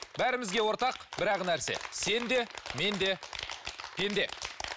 бәрімізге ортақ бір ақ нәрсе сен де мен де пенде